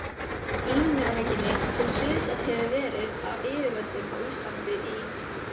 Ímyndunarveikinni, sem sviðsett hefur verið af yfirvöldum á Íslandi í